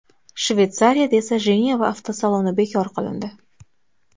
Shveysariyada esa Jeneva avtosaloni bekor qilindi .